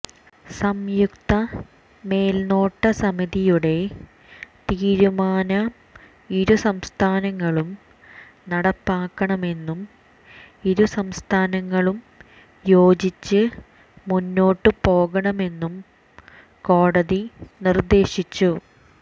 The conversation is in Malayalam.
സംയുക്ത മേല്നോട്ട സമതിയുടെ തീരുമാനം ഇരു സംസ്ഥാനങ്ങളും നടപ്പാക്കണമെന്നും ഇരു സംസ്ഥാനങ്ങളും യോജിച്ച് മുന്നോട്ട് പോകണമെന്നും കോടതി നിര്ദേശിച്ചു